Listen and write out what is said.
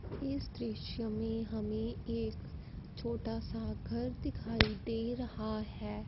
इस दृश्य में हमें एक छोटा सा घर दिखाई दे रहा है।